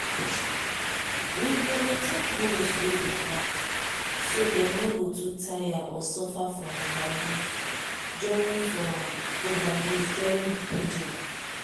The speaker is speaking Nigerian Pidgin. we dey rotate bulls way dey knack so dem no go too tire or suffer from overuse during from overuse during breeding